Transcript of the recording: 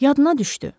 Yadına düşdü.